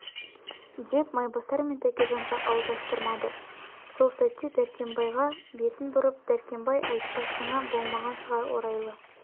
деп майбасар мен тәкежанға ауыз аштырмады сол сәтте дәркембайға бетін бұрып дәркембай айтпасыңа болмаған шығар орайлы